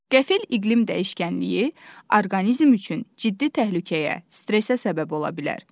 Qəfil iqlim dəyişkənliyi orqanizm üçün ciddi təhlükəyə, stressə səbəb ola bilər.